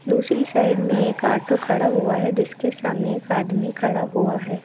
दूसरी साइड में एक ऑटो खड़ा हुआ है जिसके सामने एक आदमी खड़ा हुआ है।